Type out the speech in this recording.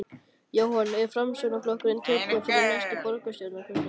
Jóhann: Er Framsóknarflokkurinn tilbúinn fyrir næstu borgarstjórnarkosningar?